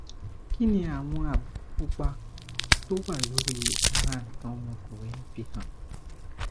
kí ni àwọn àbùkù pupa tó wà lórí ara nkan omokunrin fi hàn